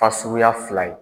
Fasuguya fila ye.